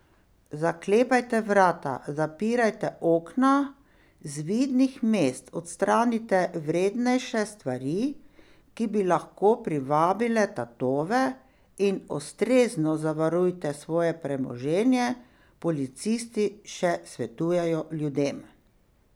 Zaklepajte vrata, zapirajte okna, z vidnih mest odstranite vrednejše stvari, ki bi lahko privabile tatove, in ustrezno zavarujte svoje premoženje, policisti še svetujejo ljudem.